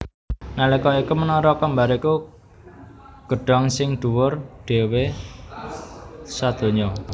Nalika iku Menara Kembar iku gedhong sing dhuwur dhéwé sadonya